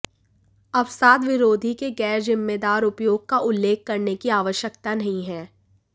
अवसाद विरोधी के गैर जिम्मेदार उपयोग का उल्लेख करने की आवश्यकता नहीं है